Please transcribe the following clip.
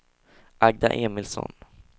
Agda Emilsson